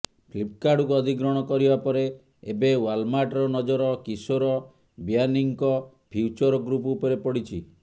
ଫ୍ଲିପ୍କାର୍ଟକୁ ଅଧିଗ୍ରହଣ କରିବା ପରେ ଏବେ ୱାଲମାର୍ଟର ନଜର କିଶୋର ବିୟାନୀଙ୍କ ଫ୍ୟୁଚର ଗ୍ରୁପ୍ ଉପରେ ପଡିଛି